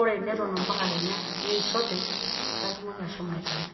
Ore neton mpaka Kenya neisho openy paa itumoki ashomo aitayu.